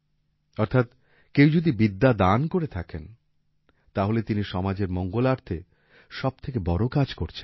অর্থাৎ কেউ যদি বিদ্যাদান করে থাকেন তাহলে তিনি সমাজের মঙ্গলার্থে সবথেকে বড় কাজ করছেন